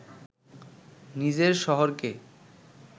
নিজের শহরকে